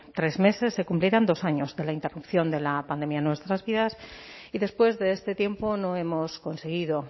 tres meses se cumplirán dos años de la interrupción de la pandemia en nuestras vidas y después de este tiempo no hemos conseguido